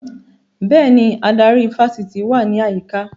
Bẹ́ẹ̀ni, adarí ifásitì wà ní àyíká